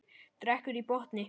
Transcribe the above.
Drekkur í botn.